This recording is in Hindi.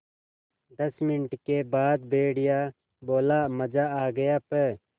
दस मिनट के बाद भेड़िया बोला मज़ा आ गया प्